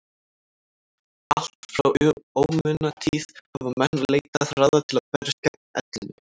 allt frá ómunatíð hafa menn leitað ráða til að berjast gegn ellinni